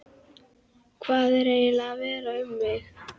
Hvað var eiginlega að verða um mig?